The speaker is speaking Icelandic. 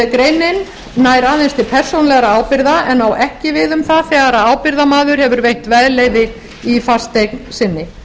greinin nær aðeins til persónulegra ábyrgða en á ekki við um það þegar ábyrgðarmaður hefur veitt veðleyfi í fasteign sinni